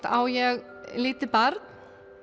á ég lítið barn